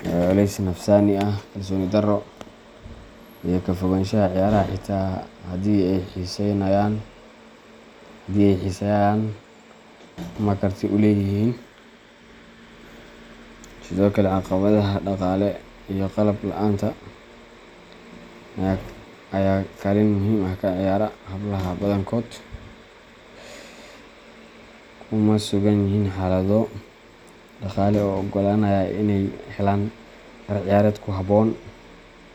culeys nafsaani ah, kalsooni darro, iyo ka fogaanshaha ciyaaraha xitaa haddii ay xiiseeyaan ama karti u leeyihiin. Sidoo kale, caqabadaha dhaqaale iyo qalab la’aanta ayaa kaalin muhiim ah ka ciyaara. Hablaha badankood kuma sugan yihiin xaalado dhaqaale oo oggolaanaya inay helaan dhar ciyaareed ku habboon.